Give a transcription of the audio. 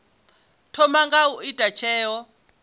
thoma nga u ita tsheo